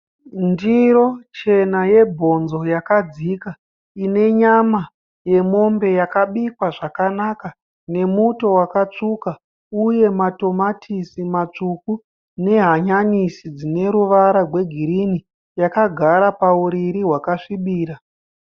Ndiro chena yebhonzo yakadzika, inenyama yemombe yakabikwa zvakanaka nemuto wakatsvuka uye matamatisi matsvuku nehanyanisi dzineruvara rwegirini yakagara pauriri hwakasvibira.